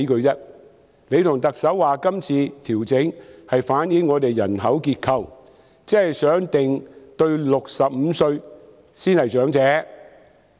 局長和特首說今次的調整反映了本港的人口結構，希望釐定年滿65歲的才是長者。